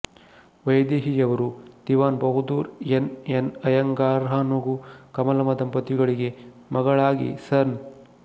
ವೈದೇಹಿಯವರು Diwan Bahadur N N ಅಯ್ಯಂಗಾರ್ಹಾಗೂ ಕಮಲಮ್ಮ ದಂಪತಿಗಳಿಗೆ ಮಗಳಾಗಿ ಸನ್